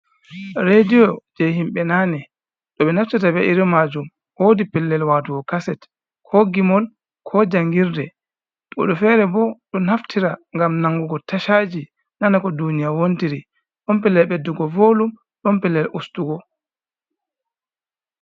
Rediyo je himɓe nane do ɓe naftirta be’iri majum wodi pellel watugo kaset ko gimol, ko jangirde, woɓɓe fere bo do naftira ngam nanugo tachaji nana ko duniya wontiri ɗon pelel ɓeddugo volum ɗon pellel ustugo.